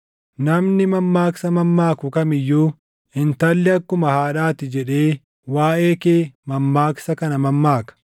“ ‘Namni mammaaksa mammaaku kam iyyuu, “Intalli akkuma haadhaa ti” jedhee waaʼee kee mammaaksa kana mammaaka.